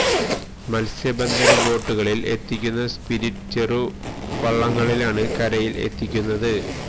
മത്സ്യ ബന്ധന ബോട്ടുകളില് എത്തിക്കുന്ന സ്പിരിറ്റ് ചെറു വള്ളങ്ങളിലാണ് കരയില് എത്തിക്കുന്നത്